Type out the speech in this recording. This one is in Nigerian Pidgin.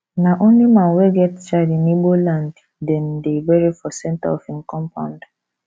na only man wey get child in igbo land dem dey bury for centre of im compound